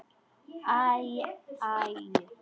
Æ, æ.